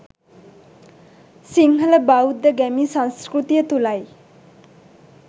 සිංහල බෞද්ධ ගැමි සංස්කෘතිය තුලයි.